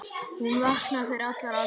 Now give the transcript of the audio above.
Hún vaknaði fyrir allar aldir.